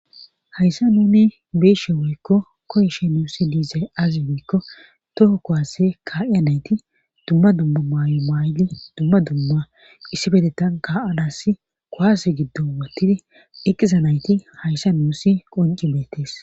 Hayssa nuni beeshe woykko koyshe nuusi diizay azi miikko toho kowase kaa'iya nayti dumma dumma maay'o maayli dumma dumma issi bedetan kaa'anasi kowase giddo wottidi eqqiza nayti hayssa nuusi qonci beetees